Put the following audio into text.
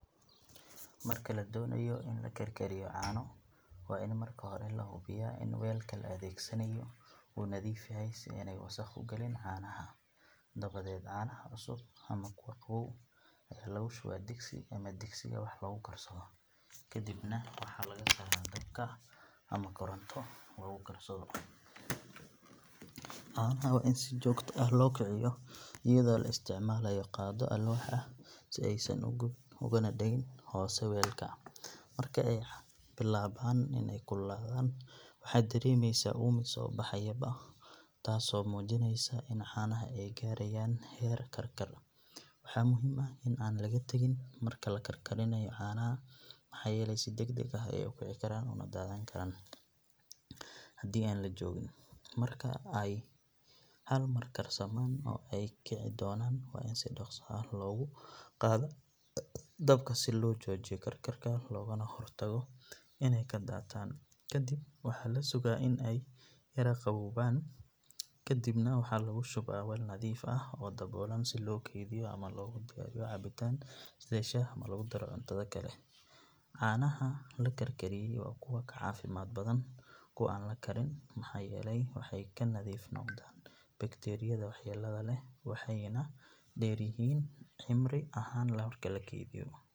Marka la doonayo in la karkariyo caano waa in marka hore la hubiyaa in weelka la adeegsanayo uu nadiif yahay si aanay wasakh u gelin caanaha. Dabadeed caanaha cusub ama kuwa qabow ayaa lagu shubaa digsi ama digsiga wax lagu karsado kadibna waxaa la saaraa meel dabka ama koronto lagu karsado. Caanaha waa in si joogto ah loo kiciyo iyadoo la isticmaalayo qaaddo alwaax ah si aysan u gubin uguna dhegin hoose weelka. Marka ay bilaabaan inay kululaadaan waxaad dareemaysaa uumi soo baxayaba taasoo muujinaysa in caanaha ay gaarayaan heer karkar. Waxaa muhiim ah in aan laga tagin marka la karkarinayo caanaha maxaa yeelay si degdeg ah ayey u kici karaan una daadan karaan haddii aan la joogin. Marka ay hal mar karsamaan oo ay kici doonaan waa in si dhaqso ah hoos loogu qaadaa dabka si loo joojiyo karkarka lagana hortago inay ka daataan. Ka dib waxaa la sugaa in ay yara qaboojaan kadibna waxaa lagu shubaa weel nadiif ah oo daboolan si loo kaydiyo ama loogu diyaariyo cabitaan sida shaah ama lagu daro cuntada kale. Caanaha la karkariyay waa kuwo ka caafimaad badan kuwa aan la karin maxaa yeelay waxay ka nadiif noqdaan bakteeriyada waxyeellada leh waxayna dheer yihiin cimri ahaan marka la keydiyo.